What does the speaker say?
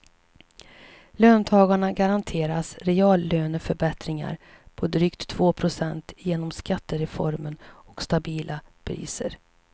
Löntagarna garanteras reallöneförbättring på drygt två procent genom skattereformen och stabila priser.